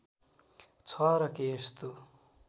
छ र के यस्तो